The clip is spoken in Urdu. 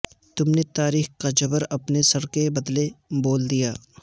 تم نے تاریخ کا جبر اپنے سر کے بدلے بول دیا